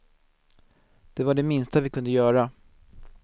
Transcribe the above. Det var det minsta vi kunde göra.